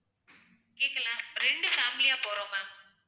கேட்கலை ரெண்டு family யா போறோம் ma'am